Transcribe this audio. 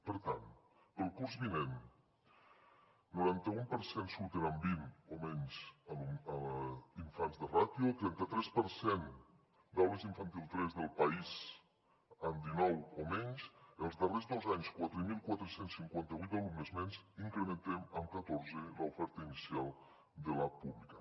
per tant per al curs vinent noranta un per cent surten amb vint o menys infants de ràtio trenta tres per cent d’aules d’infantil tres del país amb dinou o menys els darrers dos anys quatre mil quatre cents i cinquanta vuit alumnes menys incrementem amb catorze l’oferta inicial de la pública